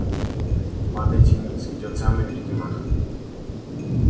падайте ниц идёт самый великий маг